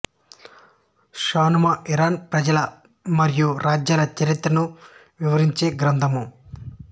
షానామా Iran రాజుల మరియూ రాజ్యాల చరిత్రను వివరించే గ్రంథము